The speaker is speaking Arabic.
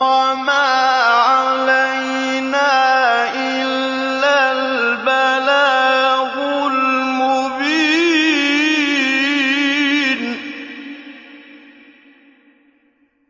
وَمَا عَلَيْنَا إِلَّا الْبَلَاغُ الْمُبِينُ